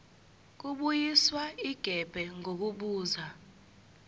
kubuyiswa igebe ngokubuza